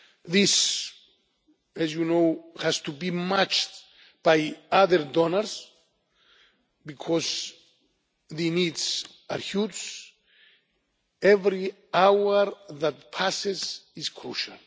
This, as you know, has to be matched by other donors, because the needs are huge. Every hour that passes is